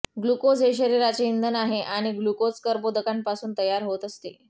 glucose हे शरीराचे इंधन आहे आणि ग्लुकोज कर्बोदकांपासून तयार होत असते